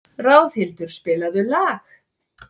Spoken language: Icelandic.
Ráðhildur, spilaðu lag.